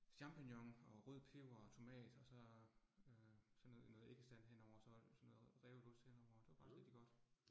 Champignon og rød peber og tomat, og så øh sådan noget noget æggestand henover, så så noget revet ost henover, det var faktisk rigtig godt